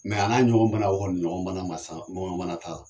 Mɛ an ka ɲɔgɔn bana o kɔni ɲɔgɔn bana ma sa, ɲɔgɔn bana t'a la.